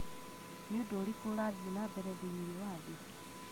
nĩ ũndũ ũrĩkũ ũrathiĩ na mbere thĩinĩ wa thĩ?